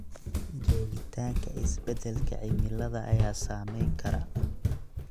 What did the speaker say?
Joogitaanka isbeddelka cimilada ayaa saameyn kara.